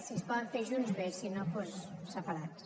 si es poden fer junts bé si no doncs separats